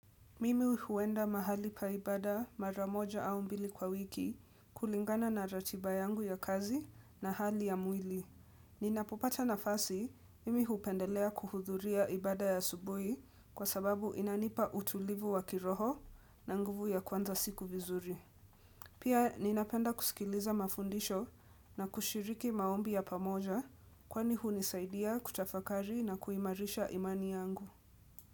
Mimi huenda mahali pa ibada mara moja au mbili kwa wiki kulingana na ratiba yangu ya kazi na hali ya mwili. Ninapopata nafasi, mimi hupendelea kuhudhuria ibada ya asubuhi kwa sababu inanipa utulivu wa kiroho na nguvu ya kuanza siku vizuri. Pia ninapenda kusikiliza mafundisho na kushiriki maombi ya pamoja kwani hunisaidia kutafakari na kuimarisha imani yangu.